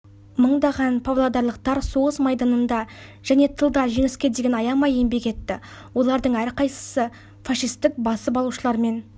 мыңдаған павлодарлықтар соғыс майданында және тылда жеңіске деген аямай еңбек етті олардың әрқайсысы фашистік басып алушылармен